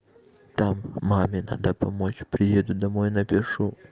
там маме надо помочь приеду домой напишу